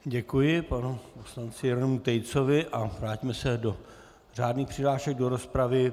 Děkuji panu poslanci Jeronýmu Tejcovi a vrátíme se do řádných přihlášek do rozpravy.